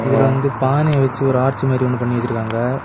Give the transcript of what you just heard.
இதுல வந்து பானை வச்சு ஒரு ஆர்ச் மாதிரி ஒன்னு பண்ணி வச்சுருக்காங்க.